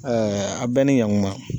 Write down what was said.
Ɛɛ a bɛɛ ni ɲankuma